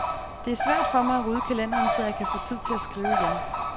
Det er svært for mig at rydde kalenderen, så jeg kan få tid til at skrive igen.